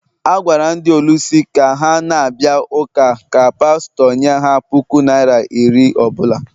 A gwara ndị ọlụsị ka ha na-abịa ụka ka pastọ nye ha puku naira iri ọ bụla